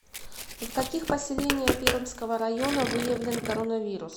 в каких поселения пермского района выявлен коронавирус